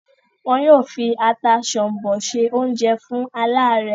wọ́n yóò fi “ata sọ̀m̀bọ̀" se oúnjẹ fún aláàárẹ́.